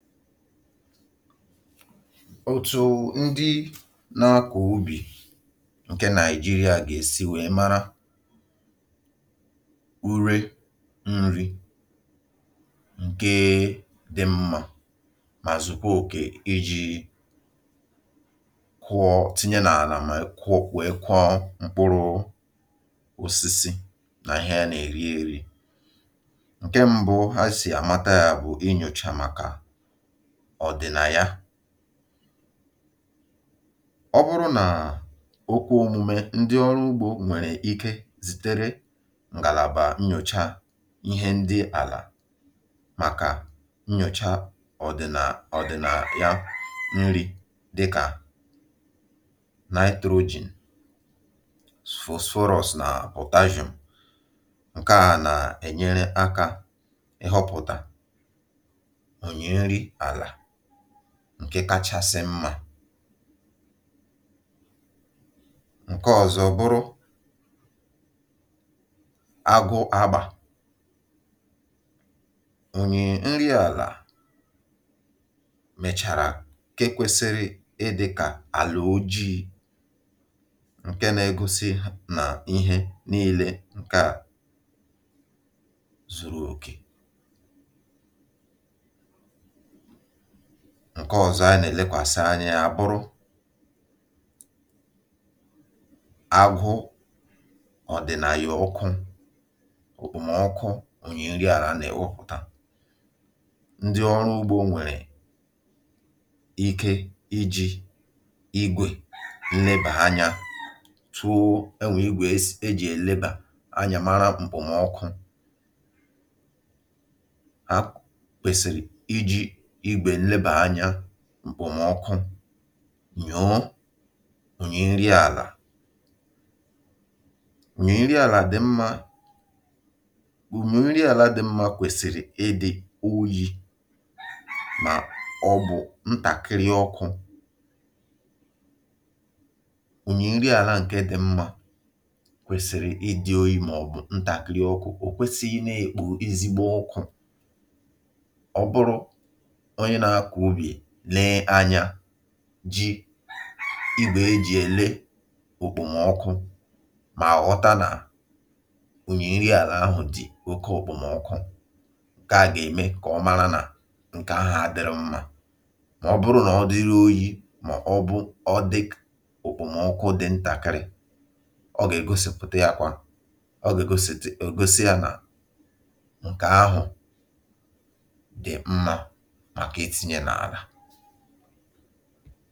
Otu ndị ọrụ ugbo dị̀ n’Naịjirià gà-esi mata ezigbo úré ma tụọ ya nke ọma kà ha tinye n’ala kà mkpụrụ osisi gà-àtọ nke ọma bụ̀ dịkà n’ụdị a. Ihe mbụ mbụ kpamkpam bụ ị nwècha ala. Ee, nwècha ala. Ndị ọrụ ugbo gà-amatà ya site n’ị nwècha ala. Ụfọdụ oge nke a si na ngalaba ugbo maọ̀bụ n’aka ndị na-eme nnyocha. Mgbe ha nwèchàrà ala ha na-ele ihe dị n’ime ya. Dịkà nitrogen phosphorus na potassium. Ụdị ihe ndị a na-egosi gị ụdị úré kacha mma i gà-eji. Ihe ọzọ ọzọ dị̣ mkpa bụ ala n’onwe ya. Ụdị ya na agba ya. Ala dị mma ala dị mma bụ́ nke na-adị̀ ojii maọ̀bụ gbara ọchịchịrị. Nke ahụ na-egosi nà ọ jupụtara n’ihe eke. Ọzọkwa okpomọkụ ala ọkụ ala. Ndị ọrụ ugbo nwere ike iji ngwa lelee ya hụ ma ala ahụ dị oke ọkụ maọ̀bụ dị oke oyi maọ̀bụ dị n’etiti. Ala dị mma ala dị ike -abụ nke kwèsịrị ịdị n’etiti. Ọ naghị ekwesị ịdị oke ọkụ ma ọ naghị ekwesịkwa ịdị oke oyi. Site n’iji ngwa lelee ya i gà-ahụ ma ala ahụ bụ nke ọkụ gbara ọsọ nke gosiri nà ala ahụ adịghị mma. Mànà ọ bụrụ nà ọ dị jụụ dị n’etiti nke ahụ na-egosi nà ala ahụ dị mma dị njikere maka ịkụ ugbo.